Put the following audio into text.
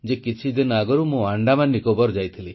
କିଛିଦିନ ଆଗରୁ ମୁଁ ଆଣ୍ଡାମାନ ନିକୋବାର ଯାଇଥିଲି